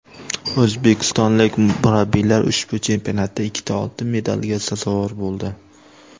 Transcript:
O‘zbekistonlik murabbiylar ushbu chempionatda ikkita oltin medalga sazovor bo‘ldi.